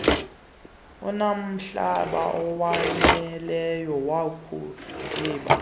inomhlaba owaneleyo wokutsibela